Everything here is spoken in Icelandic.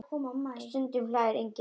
Stundum hlær enginn annar.